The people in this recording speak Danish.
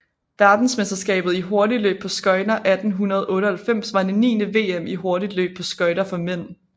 Verdensmesterskabet i hurtigløb på skøjter 1898 var det niende VM i hurtigløb på skøjter for mænd